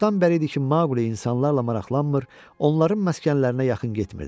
Çoxdan bəri idi ki, Mauli insanlarla maraqlanmır, onların məskənlərinə yaxın getmirdi.